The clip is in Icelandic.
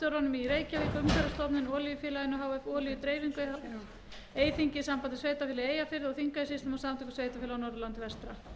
reykjavík umhverfisstofnun olíufélaginu h f olíudreifingu e h f eyþingi sambandi sveitarfélaga í eyjafirði og þingeyjarsýslum og samtökum sveitarfélaga á norðurlandi vestra